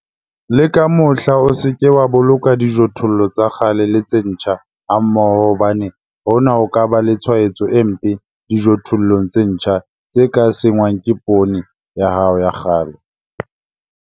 Le ka mohla o se ke wa boloka dijothollo tsa kgale le tse ntjha hammoho hobane hona ho ka ba le tshwaetso e mpe dijothollong tse ntjha tse ka senngwang ke poone ya hao ya kgale.